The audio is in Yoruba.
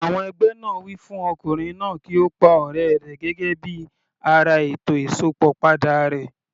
Àwọn ẹgbẹ́ náà wí fún Ọkùnrin náà kí ó pa ọ̀rẹ́ rẹ̀ gẹ́gẹ́ bí ara ètò Ìsópọ̀ padà rẹ̀.